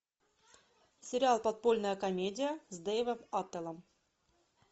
сериал подпольная комедия с дэйвом аттеллем